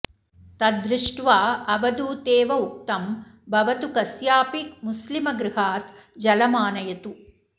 तद् दृष्ट्वा अवधूतेव उक्तं भवतु कस्याऽपि मुस्लिमगृहात् जलमानयतु